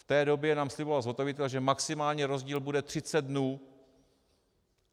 V té době nám sliboval zhotovitel, že maximální rozdíl bude 30 dnů.